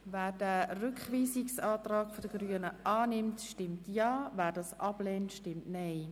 Wer diesen Rückweisungsantrag annimmt, stimmt Ja, wer diesen ablehnt, stimmt Nein.